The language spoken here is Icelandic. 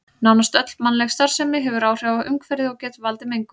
Nánast öll mannleg starfsemi hefur áhrif á umhverfið og getur valdið mengun.